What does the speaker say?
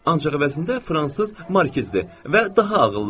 Ancaq əvəzində fransız markizdir və daha ağıllıdır.